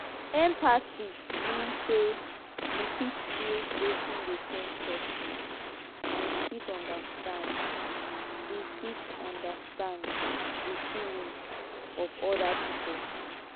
empathy mean say you fit feel wetin dey pain person and you fit understand di fit understand di feelings of oda pipo